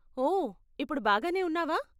ఓ, ఇప్పుడు బాగానే ఉన్నావా?